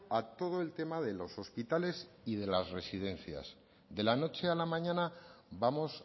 a todo el tema de los hospitales y de las residencias de la noche a la mañana vamos